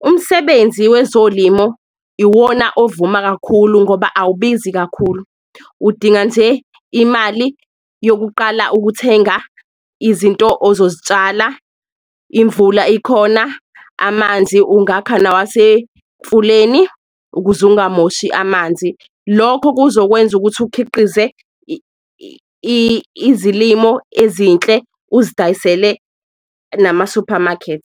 umsebenzi wezolimo iwona ovuma kakhulu ngoba awubizi kakhulu. Udinga nje imali yokuqala ukuthenga izinto azozitshala imvula ikhona, amanzi ungakha nawasemfuleni ukuze ungamoshi amanzi, lokho kuzokwenza ukuthi ukhiqize izilimo ezinhle uzidayisele namasuphamakethi.